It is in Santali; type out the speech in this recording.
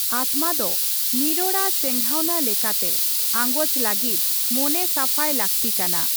ᱟᱛᱢᱟ ᱫᱚ ᱱᱤᱨᱚᱲᱟ ᱪᱮᱸᱜᱷᱟᱣᱱᱟ ᱞᱮᱠᱟᱛᱮ ᱟᱸᱜᱚᱪ ᱞᱟᱹᱜᱤᱫ ᱢᱚᱱᱮ ᱥᱟᱯᱷᱟᱭ ᱞᱟᱹᱠᱛᱤ ᱠᱟᱱᱟ ᱾